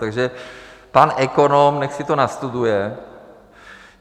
Takže pan ekonom ať si to nastuduje.